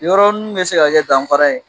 Yɔrɔ nin mun bɛ se ka kɛ danfara ye